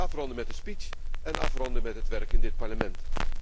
Afronden met de speech, en afronden met het werk in dit Parlement.